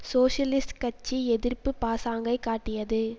socialist கட்சி எதிர்ப்பு பாசாங்கைக் காட்டியது